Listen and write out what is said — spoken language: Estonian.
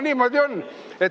Niimoodi juhtub.